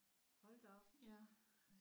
Hold da op